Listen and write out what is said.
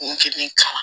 Kun kelen kalan